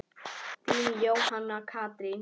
Þín, Jóhanna Katrín.